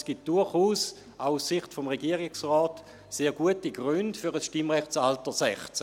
Es gibt durchaus, auch aus Sicht des Regierungsrates, sehr gute Gründe für ein Stimmrechtalter 16.